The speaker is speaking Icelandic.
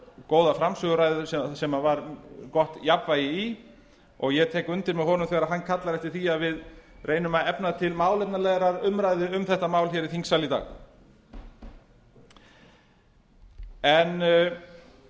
góða framsöguræðu sem var gott jafnvægi í og ég tek undir með honum þegar hann kallar eftir því að við reynum að efna til málefnalegrar umræðu um þetta mál í þingsal í dag